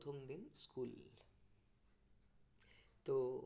তহ